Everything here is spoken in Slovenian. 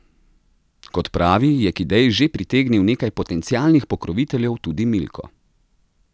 Kot pravi, je k ideji že pritegnil nekaj potencialnih pokroviteljev, tudi Milko.